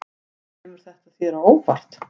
Kemur þetta þér á óvart?